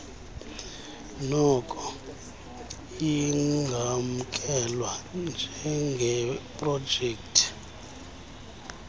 noko ingamkelwa njengeprojekthi